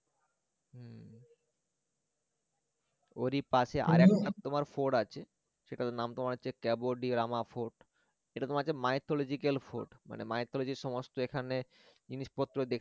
হম ওরই পাশে আরেকটা তোমার fort আছে সেটার তোমার নাম হচ্ছে cabo de rama fort সেটা তোমার হচ্ছে mythological মানে mythology র সমস্ত এখানে জিনিসপত্র দেখতে